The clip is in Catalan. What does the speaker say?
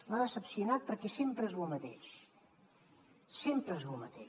m’ha decepcionat perquè sempre és lo mateix sempre és lo mateix